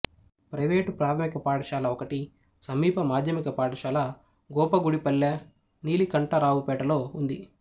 private ప్రాథమిక పాఠశాల ఒకటి సమీప మాధ్యమిక పాఠశాల గోపగుడిపల్లె నీలికంఠరావుపేటలో ఉంది